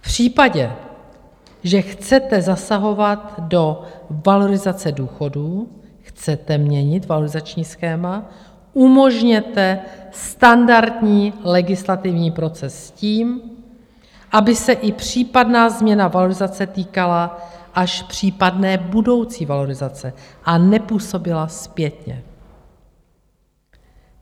V případě, že chcete zasahovat do valorizace důchodů, chcete měnit valorizační schéma, umožněte standardní legislativní proces s tím, aby se i případná změna valorizace týkala až případné budoucí valorizace a nepůsobila zpětně.